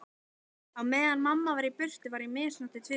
Á meðan mamma var í burtu var ég misnotuð tvisvar.